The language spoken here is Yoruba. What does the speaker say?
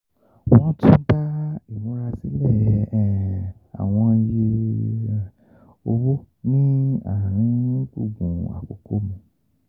Wọ́n tún bá ìmúrasílẹ̀ um àwọn iye um owó ní àárín gbùngbùn àkókò mu.